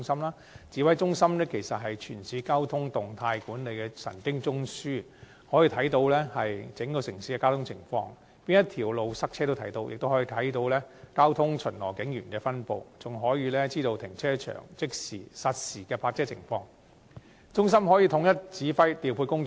該指揮中心是全市交通動態管理的神經中樞，可以看到整個城市的交通情況，哪條道路擠塞、交通巡邏警員的分布，以及各停車場實時泊車情況皆一目了然，讓中心得以統一指揮調配工作。